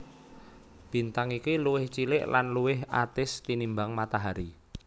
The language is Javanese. Bintang iki luwih cilik lan luwih atis tinimbang Matahari